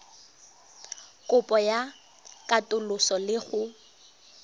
kopo ya katoloso le go